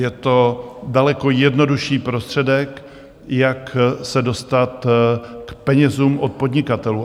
Je to daleko jednodušší prostředek, jak se dostat k penězům od podnikatelů.